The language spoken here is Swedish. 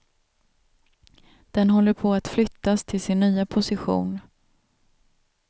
Den håller på att flyttas till sin nya position.